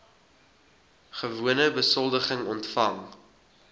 gewone besoldiging ontvang